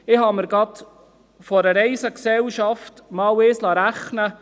Von einer Reisegesellschaft liess ich mir einmal Folgendes berechnen: